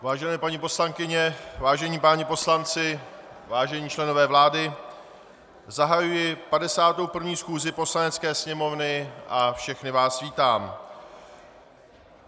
Vážené paní poslankyně, vážení páni poslanci, vážení členové vlády, zahajuji 51. schůzi Poslanecké sněmovny a všechny vás vítám.